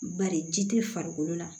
Bari ji te farikolo la